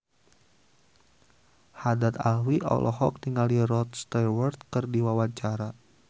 Haddad Alwi olohok ningali Rod Stewart keur diwawancara